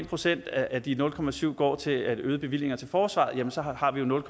procent af de nul procent går til øgede bevillinger til forsvaret jamen så har vi jo nul